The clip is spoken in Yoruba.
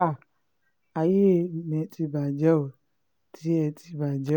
háà ayé mi ti bàjẹ́ ó tèmi ti bàjẹ́ o